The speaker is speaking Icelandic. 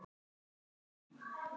Ég mun aldrei gleyma þér.